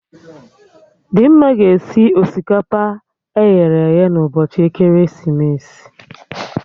Dimma ga-esi osikapa eghere eghe na ụbọchị ekeresimesi